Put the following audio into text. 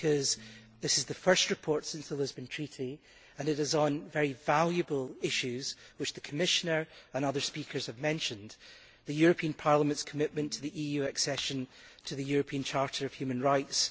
Because this is the first report since the Lisbon Treaty and it is on very valuable issues which the Commissioner and other speakers have mentioned the European Parliament's commitment to the EU accession to the European Charter of Human Rights